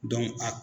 a